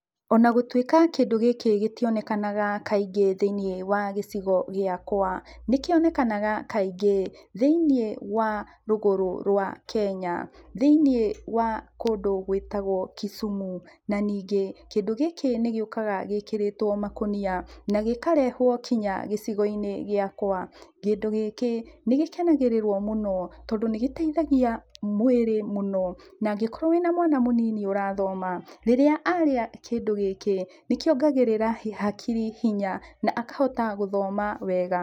Ona gũtuĩka kĩndũ gĩkĩ gĩtionekanaga kaingĩ thĩiniĩ wa gĩciogo gĩakwa, nĩkĩonekanaga kaingĩ thĩiniĩ wa rũgũrũ wa Kenya, thĩinĩ wa kũndũ gwĩtagwo Kisumu, na ningĩ kĩndũ gĩkĩ nĩgĩũkaga gĩkĩrĩtwo makũnia, nagĩkarehwo nginya gĩcigo-inĩ gĩakwa. Kĩndũ gĩkĩ nĩgĩkenagĩrĩrwo mũno tondũ nĩgĩtaithagia mwĩrĩ mũno, na angĩkorwo wĩna mwana mũnini ũrathoma, rĩrĩa arĩa kĩndũ gĩkĩ, nĩkĩongagĩrĩra hakiri hinya na akahota gũthoma wega.